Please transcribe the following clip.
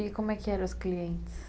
E como é que eram os clientes?